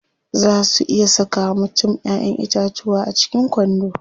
Zaa su iya saka wa mutum Ƴaƴan itatuwa a cikin kwando.